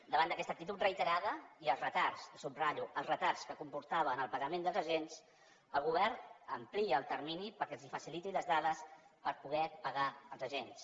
davant d’aquesta actitud reiterada i els retards i ho subratllo els retards que comportava en el pagament dels agents el govern amplia el termini perquè els faciliti les dades per poder pagar els agents